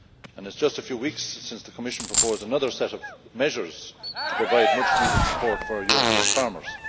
It is just a few weeks since the Commission proposed another set of measures to provide much needed support for European farmers.